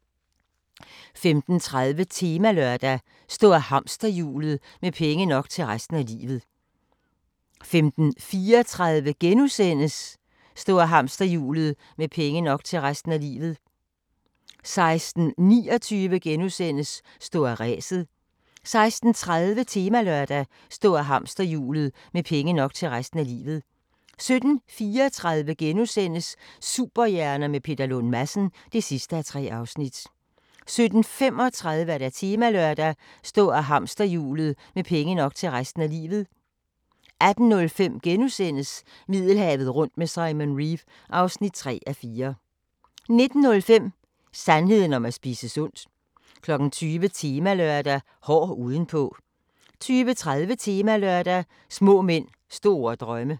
15:30: Temalørdag: Stå af hamsterhjulet – med penge nok til resten af livet 15:34: Stå af hamsterhjulet – med penge nok til resten af livet * 16:29: Stå af ræset * 16:30: Temalørdag: Stå af hamsterhjulet – med penge nok til resten af livet 17:34: Superhjerner med Peter Lund Madsen (3:3)* 17:35: Temalørdag: Stå af hamsterhjulet – med penge nok til resten af livet 18:05: Middelhavet rundt med Simon Reeve (3:4)* 19:05: Sandheden om at spise sundt 20:00: Temalørdag: Hård udenpå 20:30: Temalørdag: Små mænd, store drømme